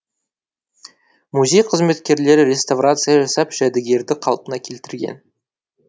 музей қызметкерлері реставрация жасап жәдігерді қалпына келтірген